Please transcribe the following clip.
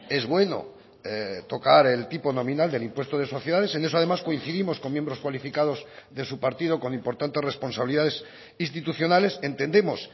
es bueno tocar el tipo nominal del impuesto de sociedades en eso además coincidimos con miembros cualificados de su partido con importantes responsabilidades institucionales entendemos